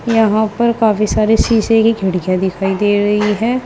यहां पर काफी सारे शीशे की खिड़कियां दिखाई दे रही है।